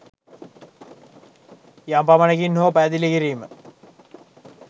යම් පමණකින් හෝ පැහැදිළි කිරීම